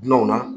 Dunanw na